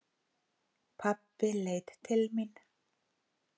Pabbi leit til mín.